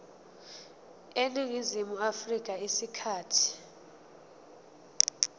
eningizimu afrika isikhathi